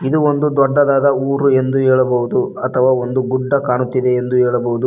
ಇದು ಒಂದು ದೊಡ್ಡದಾದ ಊರು ಎಂದು ಹೇಳಬಹುದು ಅಥವಾ ಗುಡ್ಡ ಕಾಣುತ್ತಿದೆ ಎಂದು ಹೇಳಬಹುದು.